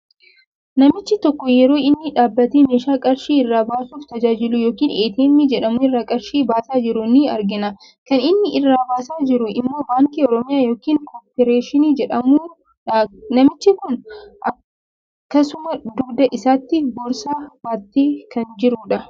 Namichi tokko yeroo inni dhaabatee meeshaa qarshii irraa baasuuf tajaajilu yookiin 'ATM' jedhamu irraa qarshii baasaa jiru in argina. Kan inni irraa baasaa jiru immoo baankii oromiyaa yookiin "coop" jedhamudha. Namichi kun akksuma dugda isaatti boorsaa baatee kan jirudha.